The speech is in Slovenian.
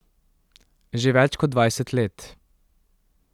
Že več kot dvajset let.